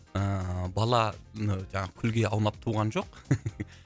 ііі бала і жаңағы күлге аунап туған жоқ